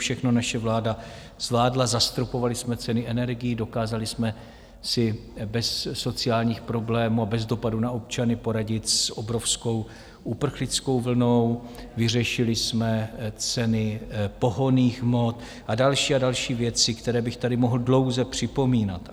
Všechno naše vláda zvládla, zastropovali jsme ceny energií, dokázali jsme si bez sociálních problémů a bez dopadu na občany poradit s obrovskou uprchlickou vlnou, vyřešili jsme ceny pohonných hmot a další a další věci, které bych tady mohl dlouze připomínat.